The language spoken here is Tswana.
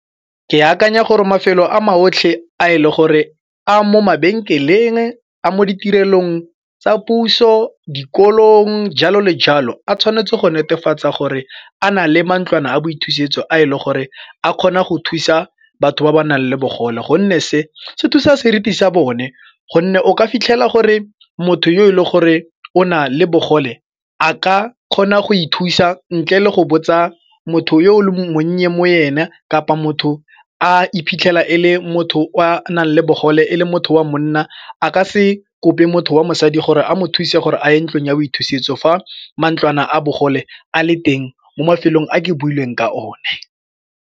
Ke akanya gore mafelo a maotlhe a e le gore a mo mabenkeleng, a mo ditirelong tsa puso, dikolong, jalo le jalo, a tshwanetse go netefatsa gore a na le mantlwana a boithusetso a e le gore a kgona go thusa batho ba ba nang le bogole gonne se se thusa seriti sa bone gonne o ka fitlhela gore motho yo e leng gore o na le bogole a ka kgona go ithusa ntle le go botsa motho yo o le monnye mo ena kapa motho a iphitlhela e le motho a nang le bogole e le motho wa monna a ka se kope motho wa mosadi gore a mo thuse gore a ye ntlong ya boithusetso fa mantlwana a bogole a le teng mo mafelong a ke buileng ka one.